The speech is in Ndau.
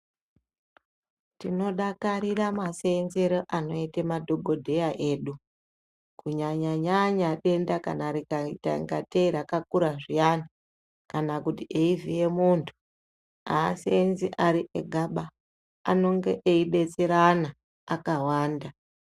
Tinodakarira maseenzero anoita madhokodheya edu kunyanyanya denda kana rikaita ngatei rakakura zviyani kana kuti eivhiya muntu aseenzi ari egaba anodetserana akawanda.